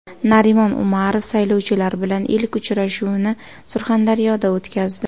Narimon Umarov saylovchilar bilan ilk uchrashuvini Surxondaryoda o‘tkazdi.